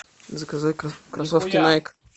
заказать кроссовки найк